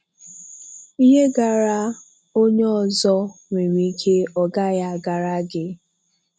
Ihe gaara onye ọzọ nwere ike ọ gaghị agara gị.